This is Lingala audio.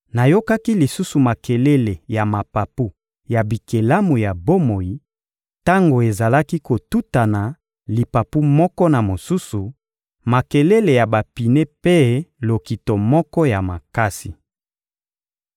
Nayokaki lisusu makelele ya mapapu ya bikelamu ya bomoi, tango ezalaki kotutana lipapu moko na mosusu, makelele ya bapine mpe lokito moko ya makasi.